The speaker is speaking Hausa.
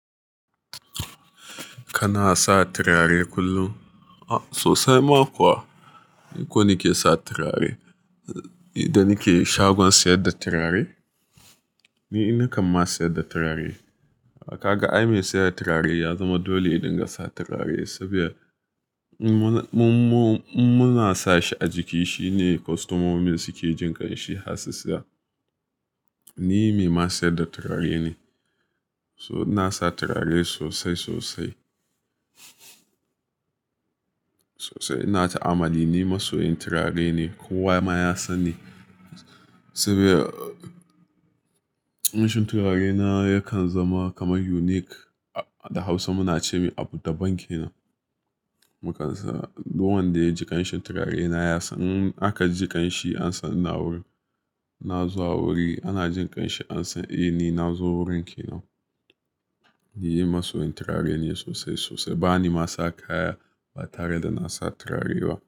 Kana sa turare kullum? A sosai ma kuwa. Ko nike sa turare. Nida nike shagon sayar da turare, ni nakan ma sayar da turare. Kaga ai mai sayar da turare ya zama dole idan gasa turare saboda mun-mun-muna sa shi a jiki. Shi ne kwastamomi suke jin kanshi har su saya. Ni mai ma siyar da turare ne. So ina sa turare sosai sosai. Sosai ina ta'amali, ni masoyin turare ne. Ko wa ma ya sanni saboda kamshin turare na yakan zama kamar unique. A da Hausa muna ce mai "Abudaban kenan". Mukansa, duk wanda ya ji kamshin turare na ya san in aka ji kamshi an san ina wurin. Ina zuwa wuri anajin kamshi an san eh ni nazo wurin kenan. Ni masoyin turare ne sosai sosai. Ba ni ma saka kaya ba tare da nasa turare ba.